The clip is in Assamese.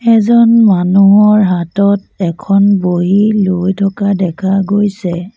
এজন মানুহৰ হাতত এখন বহী লৈ থকা দেখা গৈছে।